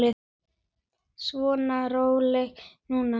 Svona, rólegur nú.